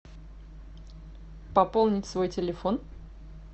пополнить свой телефон